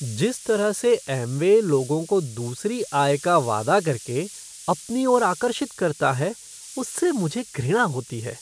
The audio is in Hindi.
जिस तरह से एमवे लोगों को दूसरी आय का वादा करके अपनी ओर आकर्षित करता है उससे मुझे घृणा होती है।